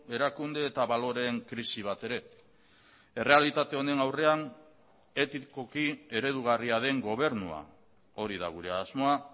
erakunde eta baloreen krisi bat ere errealitate honen aurrean etikoki eredugarria den gobernua hori da gure asmoa